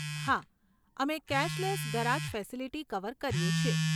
હા, અમે cashless garage facility cover કરીએ છીએ.